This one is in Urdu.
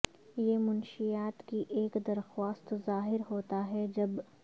یہ منشیات کی ایک درخواست ظاہر ہوتا ہے جب